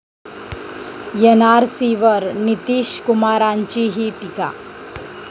एनआरसीवर नितीशकुमारांचीही टीका